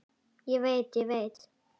Ég veit, ég veit.